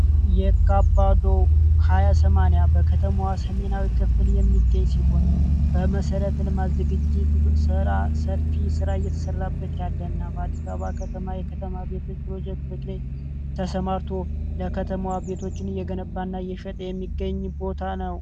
የካባዶ 2080 በከተማዋ ሰሜናዊ ክፍትል የሚገኝ ሲሆን በመሰረት ልማዝግ ጅት ሰራ ሰፊ ሥራ እየተሰራበት ያለ እና በአዲሳባ ከተማ የከተማ ቤቶች ፕሮጀክቶች ላይ ተሰማርቶ ለከተማዋ ቤቶችን እየገነባእና የሸጠ የሚገኝ ቦታ ነው።